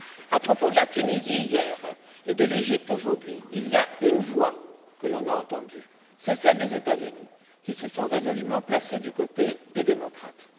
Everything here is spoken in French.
À propos de la Tunisie hier, et de l'Égypte aujourd'hui, il y a une voix que l'on a entendue, c'est celle des États Unis, qui se sont résolument placés du côté des démocrates.